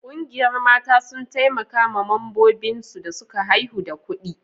Ƙungiyar mata sun taimaka ma mambobin su da suka haihu da kudi